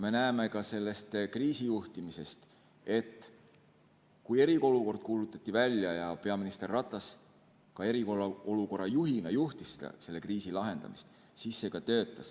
Me näeme ka sellest kriisijuhtimisest, et kui eriolukord kuulutati välja ja peaminister Ratas ka eriolukorra juhina juhtis selle kriisi lahendamist, siis see töötas.